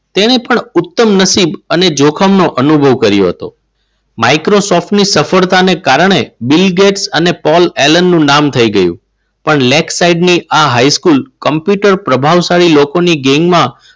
તેણે પણ ઉત્તમ નસીબ અને જોખમ નો અનુભવ કર્યો હતો માઈક્રોસોફ્ટ ની સફળતાને કારણે બિલ ગેટ્સ અને પોલ એલન નામ થઈ ગયું. પણ lake site ની આ હાઈસ્કૂલ કોમ્પ્યુટર પ્રભાવશાળી લોકોની ગેંગમાં